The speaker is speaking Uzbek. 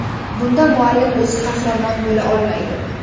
Bunda muallim o‘zi qahramon bo‘la olmaydi.